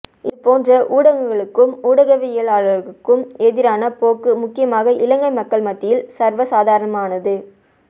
இதுபோன்ற ஊடகங்களுக்கும் ஊடகவியலாளர்களுக்கும் எதிரான போக்கு முக்கியமாக இலங்கை மக்கள் மத்தியில் சர்வசாதாரனமானது